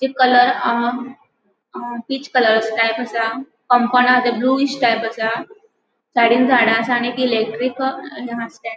तो कलर हा हा पीच कलर टाइप आसा. कम्पाउन्ड हा ते ब्लूइष टाइप आसा साइडीन झाडा आसा आणि इलेक्ट्रिक --